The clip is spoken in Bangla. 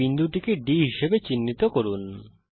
এই বিন্দুটিকে D হিসাবে চিহ্নিত করুন